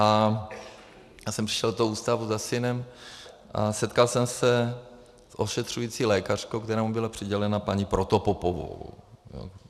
Já jsem přišel do toho ústavu za synem a setkal jsem se s ošetřující lékařkou, která mu byla přidělena, paní Protopopovou.